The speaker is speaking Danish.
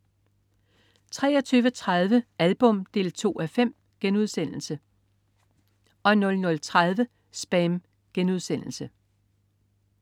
23.30 Album 2:5* 00.30 SPAM*